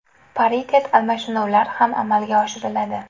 Paritet almashinuvlar ham amalga oshiriladi.